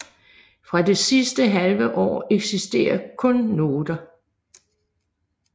Fra det sidste halve år eksisterer kun noter